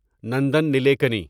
Nandan Nilekani